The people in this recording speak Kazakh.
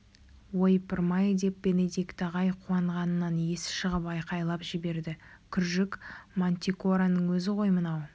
ойпырмай деп бенедикт ағай қуанғанынан есі шығып айқайлап жіберді күржік мантикораның өзі ғой мынау